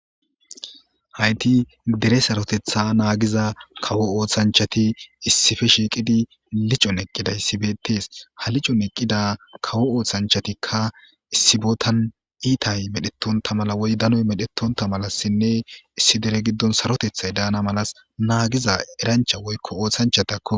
Hayti dere sarotets nagiza kawo osanchati issipe shiqidi lichon eqidaysi betes ha lichon eqida kawo osanchatika issi botan etay medhetonta mala woy danoy medhetonta malasinne issi dere gidon sarotetay dana malas nagiza erancha woyko osanchatako.